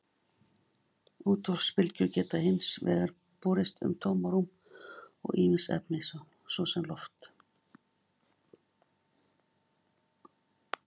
Útvarpsbylgjur geta hins vegar borist um tómarúm og ýmis efni, svo sem loft.